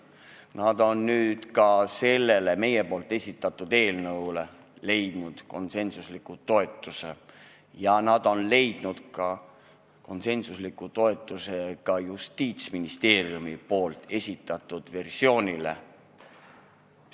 Nad on nüüd leidnud ka meie esitatud eelnõule konsensusliku toetuse, samuti Justiitsministeeriumi versioonile.